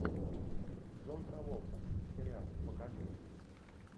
джон траволта сериал покажи